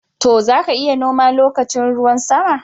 To, za ka iya noma lokacin ruwan sama.